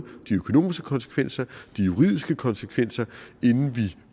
de økonomiske konsekvenser og de juridiske konsekvenser inden vi